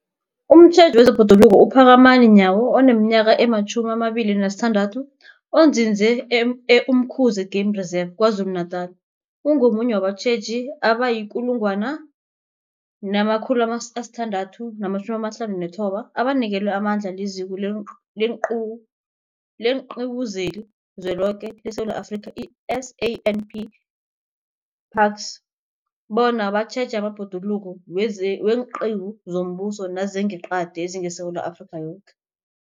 Umtjheji wezeBhoduluko uPhakamani Nyawo oneminyaka ema-26, onzinze e-Umkhuze Game Reserve KwaZulu-Natala, ungomunye wabatjheji abayi-1 659 abanikelwe amandla liZiko leenQiwu zeliZweloke leSewula Afrika, i-SANParks, bona batjheje amabhoduluko weenqiwu zombuso nezangeqadi ezingeSewula Afrika yoke.